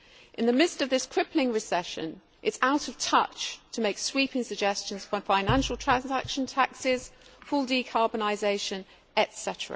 In the midst of this crippling recession, it is out of touch to make sweeping suggestions like financial transaction taxes, full decarbonisation etc.,